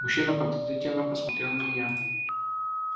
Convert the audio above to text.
мужчина подозрительно посмотрел на меня